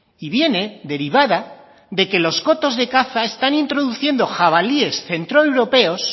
y viene derivada de que los cotos de caza están introduciendo jabalíes centroeuropeos